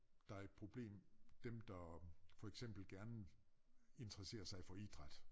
Der et problem dem der for eksempel gerne interesserer sig for idræt